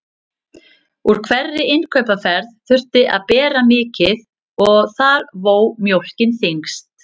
Úr hverri innkaupaferð þurfti að bera mikið og þar vó mjólkin þyngst.